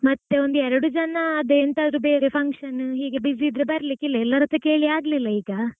ಮತ್ತೆ ಒಂದ್ ಎರಡು ಜನಾ ಅದೇ ಯೆಂತಾದ್ರು ಬೇರೆ function ಹೀಗೆ busy ಇದ್ರೆ ಬರಲಿಕ್ಕೆ ಇಲ್ಲಾ ಎಲ್ಲಾರ್ ಹತ್ರಾ ಕೇಳಿ ಆಗ್ಲಿಲ್ಲ ಈಗಾ.